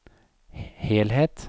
helhet